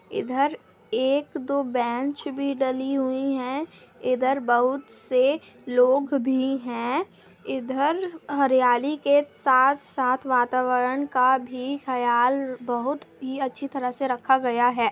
इधर एक दो बेंच भी डली हुई है इधर बहुत से लोग भी है इधर हरियाली के साथ-साथ वातावरण का भी ख्याल बहुत ही अच्छी तरह से रखा गया है।